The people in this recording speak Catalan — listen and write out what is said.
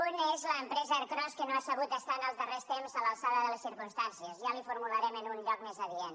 un és l’empresa ercros que no ha sabut estar en els darrers temps a l’altura de les circumstàncies ja li ho formularem en un lloc més adient